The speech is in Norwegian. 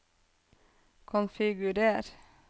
konfigurer